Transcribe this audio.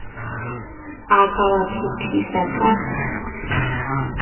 a ka wa phethisa ka